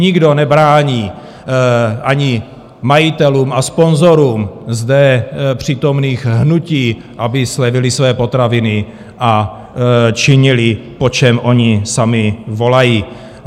Nikdo nebrání ani majitelům a sponzorům zde přítomných hnutí, aby zlevnili své potraviny a činili, po čem oni sami volají.